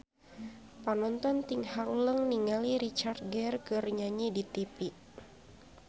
Panonton ting haruleng ningali Richard Gere keur nyanyi di tipi